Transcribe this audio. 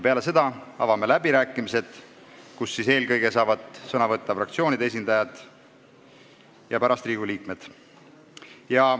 Peale seda avame läbirääkimised, kus kõigepealt saavad sõna võtta fraktsioonide esindajad ja pärast Riigikogu liikmed.